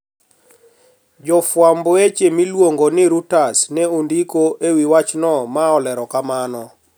Jofwamb weche miluongo ni Reuters ne ondiko e wi wachno ma olero kama: